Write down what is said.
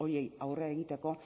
horiei aurre egiteko